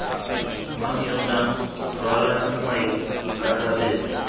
mang yo nang rwalang maikarabelo